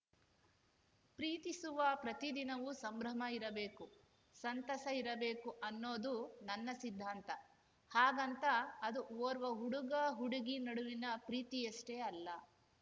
ಪ್ರೀತಿಸುವ ಪ್ರತಿ ದಿನವೂ ಸಂಭ್ರಮ ಇರಬೇಕು ಸಂತಸ ಇರಬೇಕು ಅನ್ನೋದು ನನ್ನ ಸಿದ್ಧಾಂತ ಹಾಗಂತ ಅದು ಓರ್ವ ಹುಡುಗಹುಡುಗಿ ನಡುವಿನ ಪ್ರೀತಿಯಷ್ಟೇ ಅಲ್ಲ